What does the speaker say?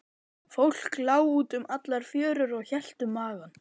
Fólk lá út um allar fjörur og hélt um magann.